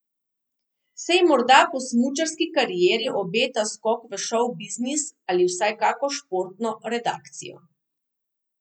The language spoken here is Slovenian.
Se ji morda po smučarski karieri obeta skok v šovbiznis ali vsaj kako športno redakcijo?